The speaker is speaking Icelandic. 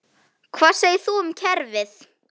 Hvað segir nú kerfið?